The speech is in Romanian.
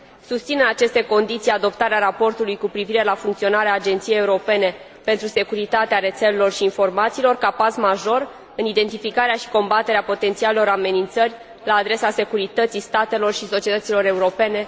Susțin, în aceste condiții, adoptarea raportului cu privire la funcționarea Agenției Europene pentru Securitatea Rețelelor și a Informațiilor, ca pas major în identificarea și combaterea potențialelor amenințări la adresa securității statelor și a societăților europene.